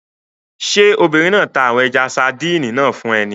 Ṣé obìnrin náà ta àwọn ẹja-sadíìnì náà fún ẹ ni?